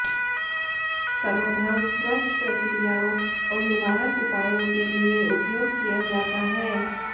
समाधान स्वच्छ प्रक्रियाओं और निवारक उपायों के लिए उपयोग किया जाता है